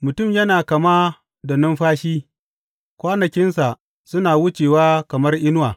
Mutum yana kama da numfashi; kwanakinsa suna wucewa kamar inuwa.